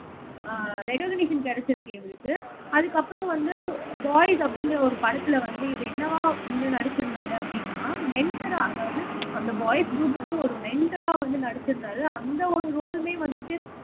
அஹ் recognition கிடைச்சிருக்கு இவருக்கு. அதுக்கப்புறம் வந்து பாய்ஸ் அப்படிங்கற ஒரு படத்திலே வந்து இது என்னவா வந்து நடிச்சிருந்தாரு அப்படின்னா மெண்டரா அதாவது அந்த பாய்ஸ் க்ரூப்க்கு ஒரு மெண்டரா வந்து நடிச்சிருந்தாரு அந்த ஒரு ரோலுமே வந்துட்டு